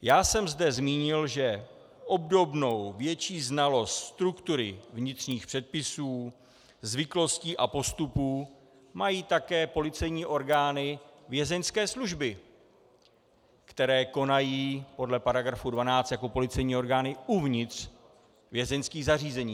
Já jsem zde zmínil, že obdobnou větší znalost struktury, vnitřních předpisů, zvyklostí a postupů mají také policejní orgány Vězeňské služby, které konají podle § 12 jako policejní orgány uvnitř vězeňských zařízení.